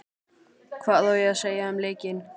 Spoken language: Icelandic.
Hvað ég á að segja um leikinn?